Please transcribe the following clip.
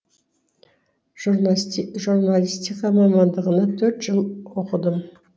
журналистика мамандығына төрт жыл оқыдым